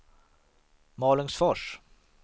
Malungsfors